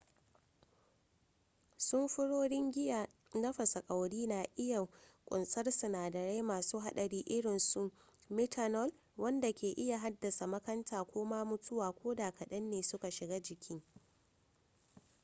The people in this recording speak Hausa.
samfurorin giya na fasa kwauri na iya kunsar sinadarai masu hadari irinsu methanol wanda ke iya haddasa makanta ko ma mutuwa ko da kadan ne suka shiga jiki